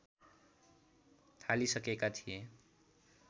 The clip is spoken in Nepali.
थालिसकेका थिए